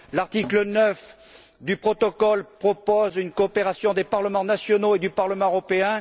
L'article 9 du protocole propose une coopération entre les parlements nationaux et le Parlement européen.